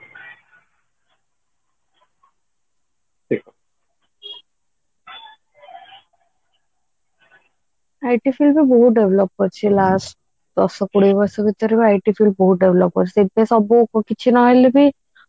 IT field ହିଁ ବହୁତ develop କରିଛି last ଦଶ କୋଡିଏ ବର୍ଷ ଭିତରେ IT field ବହୁତ develop କରିଛି ସେଇଥିପାଇଁ ସବୁ କିଛି ନ ହେଲେ ବି